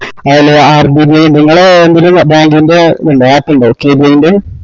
നിങ്ങളേ bank ന് bank ൻറെ app ഇണ്ടോ കെ ബി എ ൻറെ